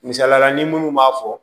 Misaliyala ni minnu b'a fɔ